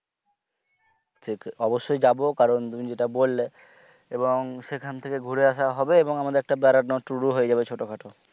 অবশ্যই যাবো কারণ তুমি যেটা বললে এবং সেখান থেকে ঘুরে আসা হবে এবং আমাদের একটা বেড়ানোর tour হয়ে যাবে ছোটখাটো,